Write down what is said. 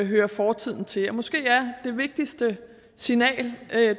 hører fortiden til måske er det vigtigste signal